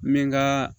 N bɛ n ka